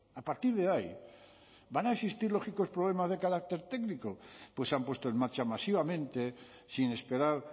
a partir de ahí van a existir lógicos problemas de carácter técnico pues se han puesto en marcha masivamente sin esperar